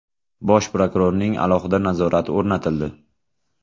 Bosh prokurorning alohida nazorati o‘rnatildi.